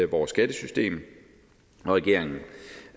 vores skattesystem og regeringen